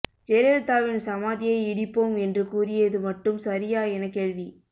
ஜெயலலிதாவின் சமாதியை இடிப்போம் என்று கூறியது மட்டும் சரியா என கேள்வி